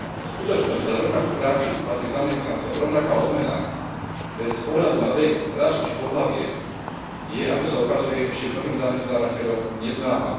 Skutočnosť, že za rovnakú prácu patrí zamestnancom rovnaká odmena bez ohľadu na vek, rasu či pohlavie, je, ako sa ukazuje, ešte mnohým zamestnávateľom neznáma.